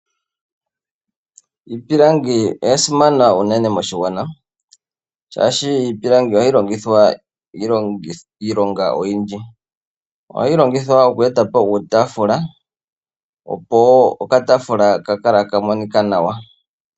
Iipilangi oya simana unene moshigwana shaashi iipilangi ohayi longithwa iilonga oyindji. Ohayi longithwa oku etapo uutafula, opo wo okataafula ka kale taka monika nawa.